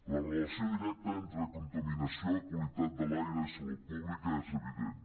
la relació directa entre contaminació qualitat de l’aire i salut pública és evident